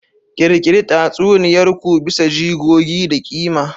Ƙirƙiri tatsuniyar ku bisa jigogi da ƙima.